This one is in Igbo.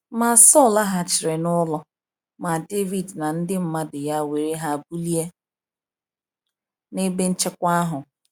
Ma Saul laghachiri n'ụlọ; ma David na ndị mmadụ ya were ha bulie n’ebe nchekwa ahụ.